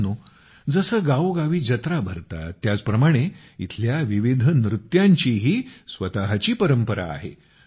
मित्रांनो जसं गावोगाव जत्रा भरतात त्याचप्रमाणे इथल्या विविध नृत्यांचीही स्वतःची परंपरा आहे